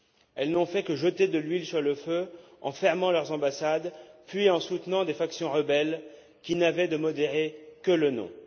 Elles n'ont fait que jeter de l'huile sur le feu en fermant leurs ambassades, puis en soutenant des factions rebelles qui n'avaient de modérées que le nom.